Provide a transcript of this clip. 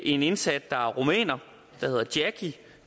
indsat der hedder jackie